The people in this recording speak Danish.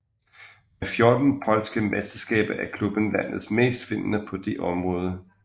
Med 14 polske mesterskaber er klubben landets mest vindende på det område